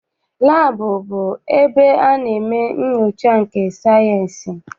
Laabụ bụ ebe a na-eme nnyocha nke sayịensị.